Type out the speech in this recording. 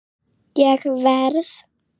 Ég verð.